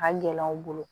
A ka gɛlɛn u bolo